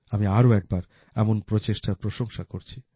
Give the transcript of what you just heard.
আমি আরো একবার এমন প্রচেষ্টার প্রশংসা করছি